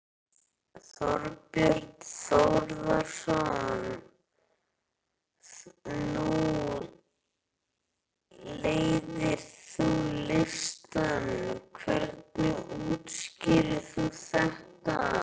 Þorbjörn Þórðarson: Nú leiðir þú listann, hvernig útskýrir þú þetta?